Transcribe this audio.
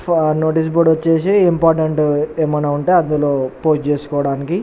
Notice board వచ్చేసి ఇంపోర్టెనట ఏమైనా ఉంటే అందులూ పోస్ట్ చేసుకోవటానికి.